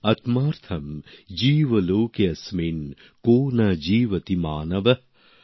আত্মার্থম জীব লোকে অস্মিন কো ন জীবতি মানবঃ